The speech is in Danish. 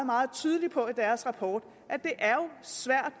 meget tydeligt på i deres rapport at det er svært